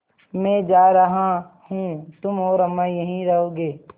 मैं जा रहा हूँ तुम और अम्मा यहीं रहोगे